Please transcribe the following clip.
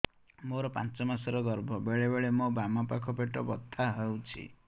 ମୋର ପାଞ୍ଚ ମାସ ର ଗର୍ଭ ବେଳେ ବେଳେ ମୋ ବାମ ପାଖ ପେଟ ବଥା ହଉଛି